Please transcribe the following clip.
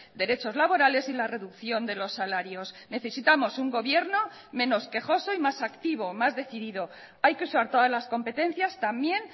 derechos laborales y la reducción de los salarios necesitamos un gobierno menos quejoso y más activo más decidido hay que usar todas las competencias también